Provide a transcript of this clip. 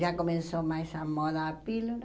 Já começou mais a moda da pílula.